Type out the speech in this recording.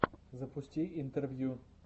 запусти интервью